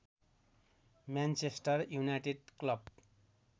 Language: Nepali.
Manchester United club